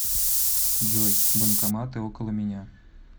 джой банкоматы около меня